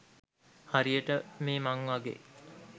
හරියට මේ මං වගේ